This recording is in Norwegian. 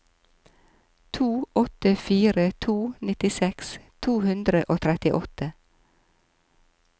to åtte fire to nittiseks to hundre og trettiåtte